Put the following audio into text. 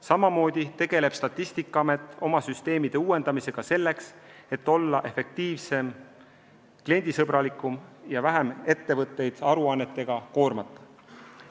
Samamoodi tegeleb Statistikaamet oma süsteemide uuendamisega selleks, et olla efektiivsem, kliendisõbralikum ja ettevõtteid aruannetega vähem koormata.